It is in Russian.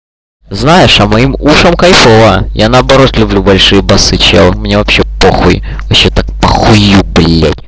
знаешь а моим ушам кайфова я наоборот люблю большие басы чел мне вот вообще похуй вообще так похую блядь